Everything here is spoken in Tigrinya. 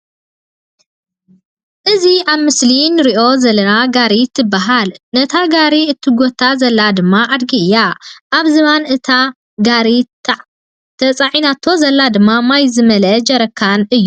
እዚ ኣብ ምስሊ እንሪኦ ዘለና ጋሪ ትባሃል። ነታ ጋሪ እትጎታ ዘላ ድማ ኣድጊ እያ። ኣብ ዝባን እታ ጋሪ ተፃዒናቶ ዘላ ድማ ማይ ዝመለአ ጀረካን እዩ።